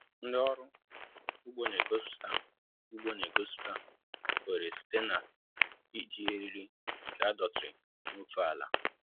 Ndị ọrụ ugbo n'egosiputa ugbo n'egosiputa oghere site n'iji eriri nke adọtiri n'ofe àlà